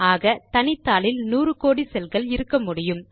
ஆக தனித்தாளில் நூறு கோடி செல் கள் இருக்கமுடியும்